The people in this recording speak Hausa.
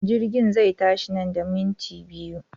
Jirgin zai tashi nan da minti biyu.